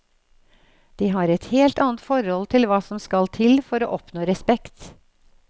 De har et helt annet forhold til hva som skal til for å oppnå respekt.